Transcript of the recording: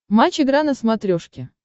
матч игра на смотрешке